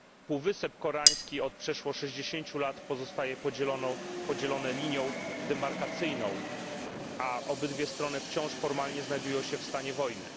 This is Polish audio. Półwysep Koreański od przeszło 60 lat pozostaje podzielony linią demarkacyjną, a obydwie strony wciąż formalnie znajdują się w stanie wojny.